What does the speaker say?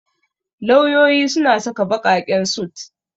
Lauyoyi suna saka baƙaƙen sut.